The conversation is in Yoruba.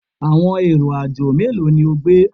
Awọn ero-ajo melo ni o gbe?